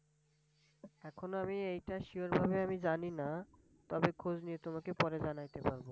এখনও আমি এটা Sure ভাবে আমি জানি না। তবে খোঁজ নিয়ে তোমাকে পরে জানাইতে পারবো।